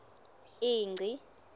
ingci